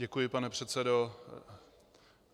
Děkuji, pane předsedo.